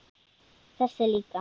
Þessi líka